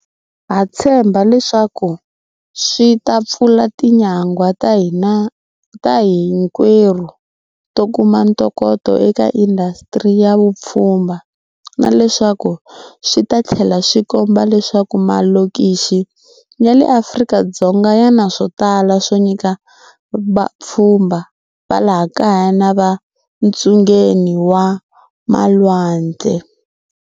Ha tshemba leswaku leswi swi ta pfula tinyangwa ta hinkwerhu to kuma ntokoto eka indasitiri ya vupfhumba, na leswaku swi ta tlhela swi komba leswaku malokixi ya le Afrika-Dzonga ya na swo tala swo nyika vapfhumba va laha kaya na le ntsungeni wa malwandle,